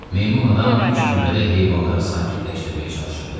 Meymun adam ilk növbədə heyvanları sakitləşdirməyə çalışırdı.